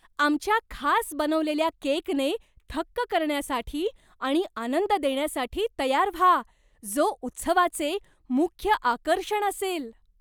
आमच्या खास बनवलेल्या केकने थक्क करण्यासाठी आणि आनंद देण्यासाठी तयार व्हा, जो उत्सवाचे मुख्य आकर्षण असेल.